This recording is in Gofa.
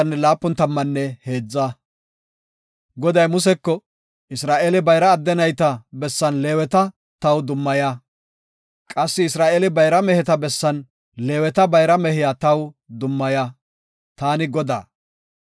“Isra7eele bayra adde nayta bessan Leeweta taw dummaya. Qassi Isra7eele bayra meheta bessan Leeweta bayra mehiya taw dummaya; taani Godaa.